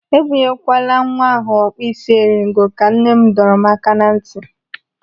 "Ebunye kwala nwa ahụ ọkpụị́sị́eringo!" Ka nne m dọrọ m aka na ntị.